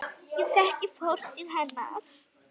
Ég þekki fortíð hennar.